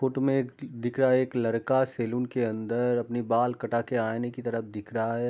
Photo में एक दिख रहा है एक लड़का सलून के अंदर अपने बाल कटा के आइने की तरफ देख रहा है।